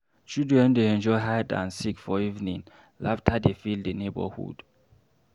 Children dey enjoy hide and seek for evening, laughter dey fill the neighborhood.